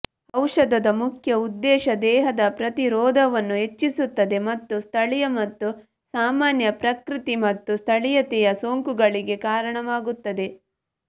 ಔಷಧದ ಮುಖ್ಯ ಉದ್ದೇಶ ದೇಹದ ಪ್ರತಿರೋಧವನ್ನು ಹೆಚ್ಚಿಸುತ್ತದೆ ಮತ್ತು ಸ್ಥಳೀಯ ಮತ್ತು ಸಾಮಾನ್ಯ ಪ್ರಕೃತಿ ಮತ್ತು ಸ್ಥಳೀಯತೆಯ ಸೋಂಕುಗಳಿಗೆ ಕಾರಣವಾಗುತ್ತದೆ